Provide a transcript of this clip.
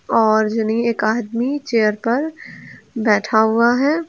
और एक आदमी चेयर पर बैठा हुआ है।